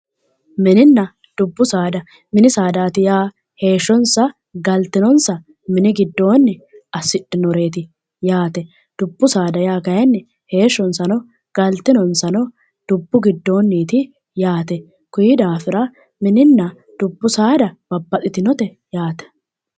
Mininna dubbu saada, mini saada yaa heeshshonsa galtinonsa mini giddoonni assidhinoreeti yaate. Dubbu saada yaa kayinni heeshshonsano galtinonsano dubbu giddonniiti yaate. Kuyi daafira mininna dubbu saada babbaxxitinote yaate.